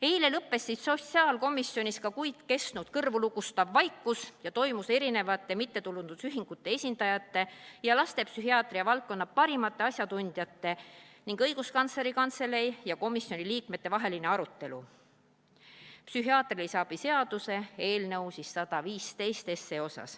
Eile lõppes sotsiaalkomisjonis juba kuid kestnud kõrvulukustav vaikus, toimus mittetulundusühingute esindajate ja lastepsühhiaatria valdkonna parimate asjatundjate ning õiguskantsleri kantselei ja komisjoni liikmete vaheline arutelu psühhiaatrilise abi seaduse üle.